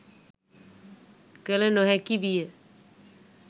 කළ නො හැකි විය